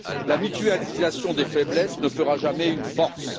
La mutualisation des faiblesses ne fera jamais une force.